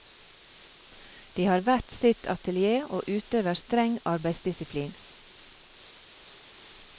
De har hvert sitt atelier og utøver streng arbeidsdisiplin.